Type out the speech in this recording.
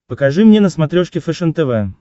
покажи мне на смотрешке фэшен тв